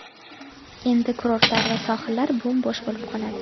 Endi kurortlar va sohillar bo‘m-bo‘sh bo‘lib qoladi.